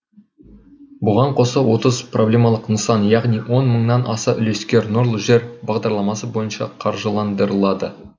бұған қоса отыз проблемалық нысан яғни он мыңнан аса үлескер нұрлы жер бағдарламасы бойынша қаржыландырылады